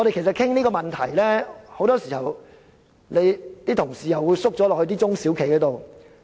討論這個問題時，很多議員同事又會代入中小企的角度思考。